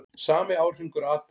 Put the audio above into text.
Sami árhringur af atburðum.